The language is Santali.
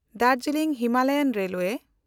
ᱫᱟᱨᱡᱤᱞᱤᱝ ᱦᱤᱢᱟᱞᱟᱭᱟᱱ ᱨᱮᱞᱣᱮ